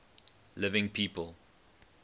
living people